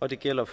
og det gælder